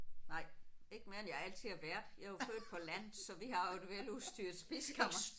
Nej ikke mere end jeg altid har været. Jeg er jo født på landet så vi har jo et veludstyrret spisekammer